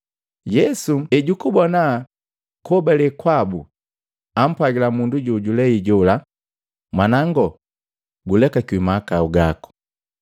Yesu ejukubona kuhobale kwabu, ampwagila mundu jojulei jola, “Mwanango, gulekakiwi mahakau gako.”